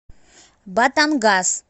батангас